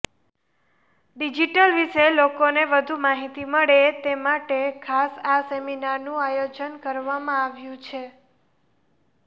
digital વિશે લોકોને વધુ માહિતી મળે તે માટે ખાસ આ સેમીનારનું આયોજન કરવામાં આવ્યું છે